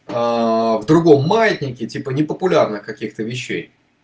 в другом маятнике типа непопулярных каких-то вещей